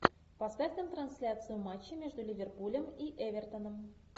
поставь нам трансляцию матча между ливерпулем и эвертоном